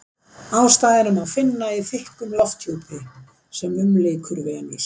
Ástæðuna má finna í þykkum lofthjúpi sem umlykur Venus.